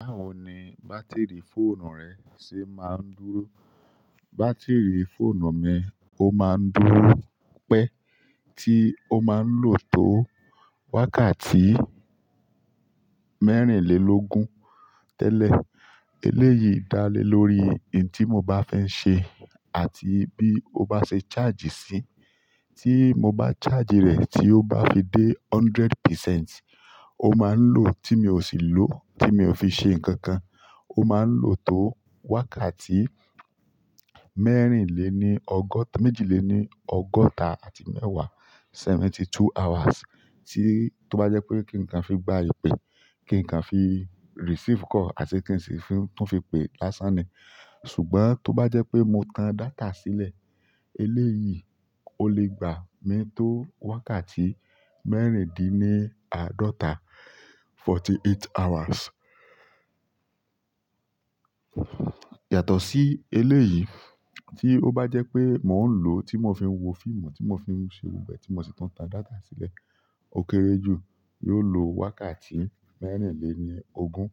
Báwo ni bátìrì fóònù rẹ ṣe máa ń dúró? Bátírì fóònù mi, ó máa ń dúró pẹ́, tí ó máa ń lò tó wákàtí mẹ́rìnlélógún tẹ́lẹ̀. Eléyìí dá lé lórí ohun tí mo bá fi n ṣe àti bí ó bá ṣe charge sí. Tí mo bá charge rẹ̀ tí ó bá fi dé hundred percent, ó máa ń low, tí mi ò sì lò, tí mi ò fi ṣe nǹkan kan, ó máa ń lò tó wákàtí mẹ́rìnléní ọgọ́ta-- méjìléní ọgọ́ta àti mẹ́wàá, seventy two hours. Tí ó bá jẹ́ pé kí nǹkan fi gba ìpè, kí nǹkan fi receive call àti kí n sì tún fi pe lásán ni. Ṣùgbọ́n tó bá jẹ́ pé mo tan data sílẹ̀, eléyìí ó lè gbà mi tó wákàtí mẹ́rìndíní àádọ́ta, forty eight hours. Yàtọ̀ sí eléyìí tí ó bá jẹ́ pé mò ń lò, tí mò fi ń wo fíìmù, tí mò fi ń ṣe gbogbo ẹ̀, tí mò sì tún tan data sílẹ̀, ó kere jù, yóò lo wákàtí mẹ́rìnléní ogún,